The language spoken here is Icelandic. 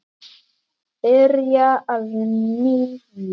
Byrja að nýju?